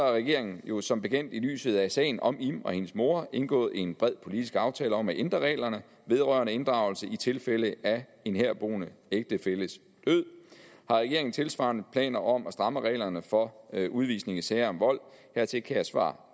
regeringen jo som bekendt i lyset af sagen om im og hendes mor indgået en bred politisk aftale om at ændre reglerne vedrørende inddragelse i tilfælde af en herboende ægtefælles død har regeringen tilsvarende planer om at stramme reglerne for udvisning i sager om vold hertil kan jeg svare